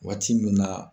Waati min na